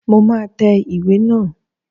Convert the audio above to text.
Mo máa tẹ ìwé naa